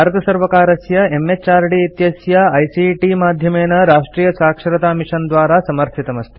एतत् भारतसर्वकारस्य एमएचआरडी इत्यस्य आईसीटी माध्यमेन राष्ट्रीयसाक्षरतामिशन द्वारा समर्थितमस्ति